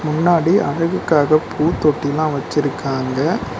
முன்னாடி அழகுக்காக பூ தொட்டிலா வச்சிருக்காங்க.